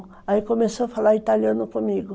Aí começou a falar italiano comigo.